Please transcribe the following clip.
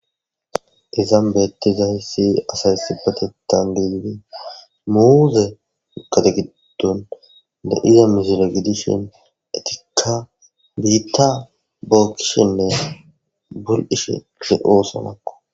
izaan beettizaysi asaysibatetangiidi muuze ukategiddun de7 iya misila gidishin etikka biitta bookkishenne bul7ishe le7oosomakko